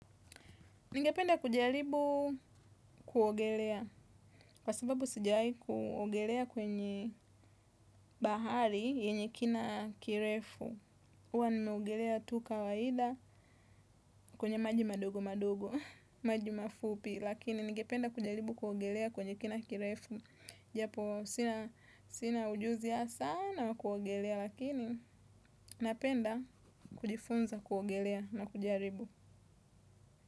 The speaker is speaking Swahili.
Ningependa kujaribu kuogelea, kwa sababu sijawahi kuogelea kwenye bahari yenye kina kirefu, huwa nimeogelea tu kawaida kwenye maji madogo madogo, maji mafupi, lakini ningependa kujaribu kuogelea kwenye kina kirefu, japo sina ujuzi ya sana kuogelea lakini napenda kujifunza kuogelea na kujaribu.